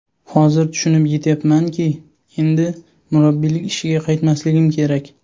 Hozir tushunib yetyapmanki, endi murabbiylik ishiga qaytmasligim kerak.